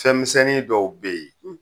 Fɛn misɛnnin dɔw be ye